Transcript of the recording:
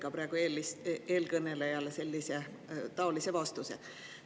Ka praegu eelkõnelejale andsite taolise vastuse.